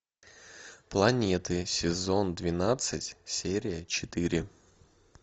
планеты сезон двенадцать серия четыре